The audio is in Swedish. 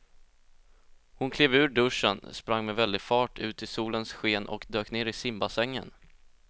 Hon klev ur duschen, sprang med väldig fart ut i solens sken och dök ner i simbassängen.